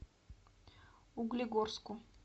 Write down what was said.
углегорску